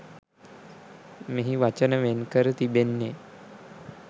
මෙහි වචන වෙන් කර තිබෙන්නේ